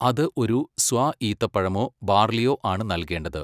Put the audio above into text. അത് ഒരു സ്വാർ ഈത്തപ്പഴമോ ബാർലിയോ ആണ് നൽകേണ്ടത്.